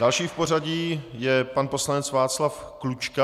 Další v pořadí je pan poslanec Václav Klučka.